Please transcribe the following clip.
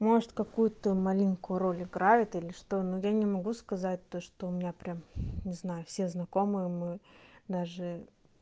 может какую-то маленькую роль играет или что ну я не могу сказать то что у меня прям не знаю все знакомые мы даже